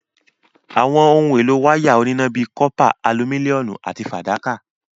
Àwọn ohun èlò wáyà oníná ni bíi cọ́pà, alumíníọ̀mù àti fàdákà.